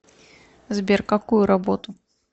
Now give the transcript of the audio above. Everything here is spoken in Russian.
сбер какую работу